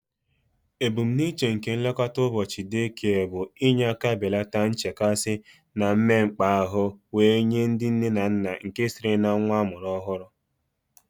Ebumnuche nke nlekọta ụbọchị day care bụ inye aka belata nchekasị na mmekpa ahụ were nye ndị nne na nna nke sitere na nwa amụrụ ọhụrụ